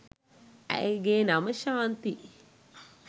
ඇයගේ නම ශාන්ති